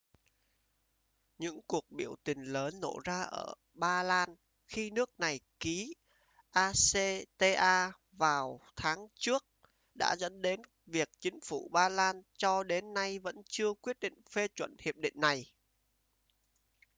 những cuộc biểu tình lớn nổ ra ở ba lan khi nước này ký acta vào tháng trước đã dẫn đến việc chính phủ ba lan cho đến nay vẫn chưa quyết định phê chuẩn hiệp định này